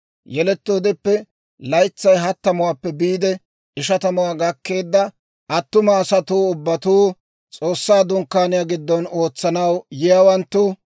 Yelettoodeppe laytsay hattamuwaappe biide ishatamuwaa gakkeedda attuma asatuu ubbatuu, S'oossaa Dunkkaaniyaa giddon ootsanaw yiyaawanttu,